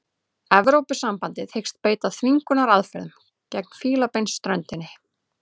Evrópusambandið hyggst beita þvingunaraðferðum gegn Fílabeinsströndinni